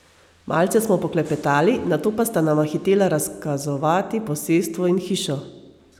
Malce smo poklepetali, nato pa sta nama hitela razkazovati posestvo in hišo.